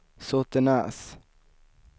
Såtenäs